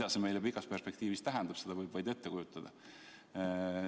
Mida see meile pikas perspektiivis tähendab, seda võib vaid ette kujutada.